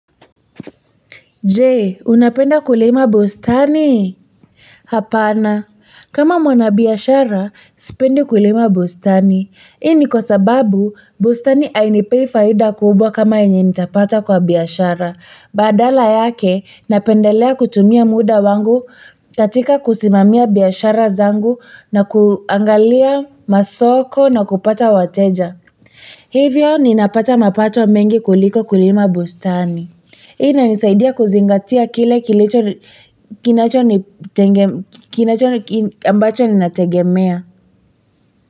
Je, unapenda kulima bustani? Hapana. Kama mwana biashara, sipendi kulima bustani. Hii ni kwa sababu bustani hainipei faida kubwa kama ile yenye nitapata kwa biashara. Badala yake, napendelea kutumia muda wangu, katika kusimamia biashara zangu na kuangalia masoko na kupata wateja. Hivyo ninapata mapato mengi kuliko kulima bostani. Inanisaidia kuzingatia kile ambacho ninategemea.